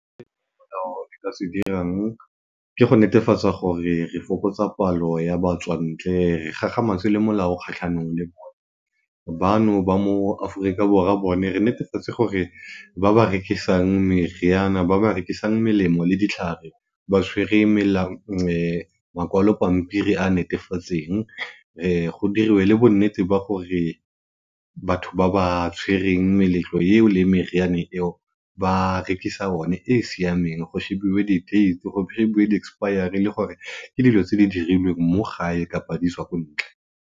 nka se dirang ke go netefatsa gore re fokotsa palo ya batswantle re kgakgamatse le molao kgatlhanong le bona. Bano ba mo Aforika Borwa bone re nerefatse gore ba ba rekisang meriana ba ba rekisang melemo le ditlhare ba tshwere makwalo pampiri a a netefatsweng go diriwe le bo nnete ba gore batho ba ba tshwereng meletlo eo le meriane eo ba rekisa one e siameng go shebiwe di date, go shebiwe di expiary le gore ke dilo tse di dirilweng mo gae kapa di tswa ko ntle.